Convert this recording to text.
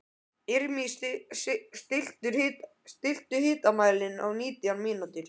Irmý, stilltu tímamælinn á nítján mínútur.